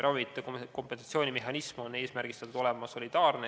Ravimite kompensatsioonimehhanism on eesmärgistatud olema solidaarne.